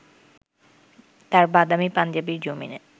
তাঁর বাদামি পাঞ্জাবির জমিনে